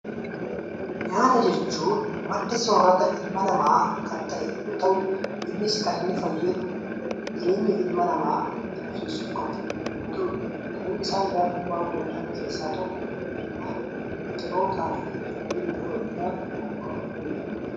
Nyaata jechuun madda soorrata ilma namaa kan ta'e yoo ta'u, innis kan inni fayyadu jireenya ilma namaa itti fufsiisuuf yoo ta'u, kan isaan qophaa'uu danda'an keessaa tokko, midhaan biqilootaa fi kanneen biroo irraa qophaa'uu ni danda'u.